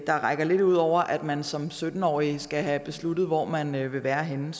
der rækker lidt ud over at man som sytten årig skal have besluttet hvor man vil være henne